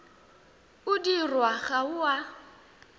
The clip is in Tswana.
o dirwang ga o a